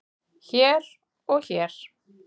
hér og hér.